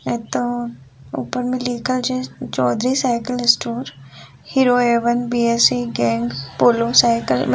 ये तो ऊपर में लिखल छे Chaudhary cycle store Hero Avon BSC. Gang Polo cycle --